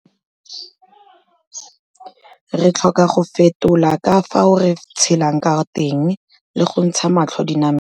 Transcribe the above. Re tlhoka go fetola ka fao re tshelang ka teng le go ntsha matlho dinameng.